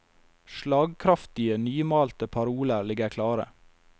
Slagkraftige, nymalte paroler ligger klare.